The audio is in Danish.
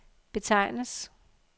betegnes